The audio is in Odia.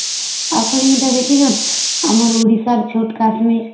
ଆପଣ ଇଟା ଦେଖିଛନ ଆମର ଓଡ଼ିଶାର ଛୁଟ କାଶ୍ମୀର